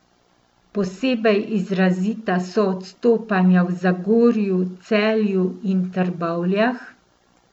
Posebej izrazita so odstopanja v Zagorju, Celju in Trbovljah.